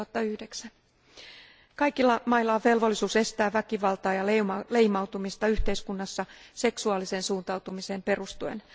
2009. Kaikilla mailla on velvollisuus estää väkivaltaa ja leimautumista yhteiskunnassa seksuaaliseen suuntautumiseen perustuen.